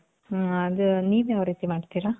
ಹ್ಮ್ ಅದು ನೀವ್ ಯಾವ್ ರೀತಿ ಮಾಡ್ತಿರ?